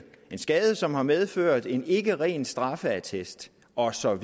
en skade som har medført en ikke ren straffeattest og så